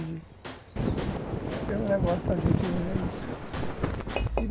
Acho que é o negócio da gente hoje, é isso. Certo, e